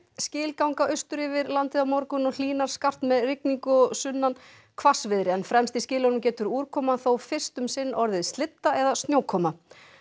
skil ganga austur yfir landið á morgun og hlýnar skarpt með rigningu og sunnanhvassviðri en fremst í skilunum getur úrkoman þó fyrst um sinn orðið eða snjókoma